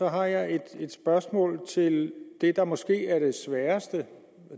har jeg et spørgsmål til det der måske er det sværeste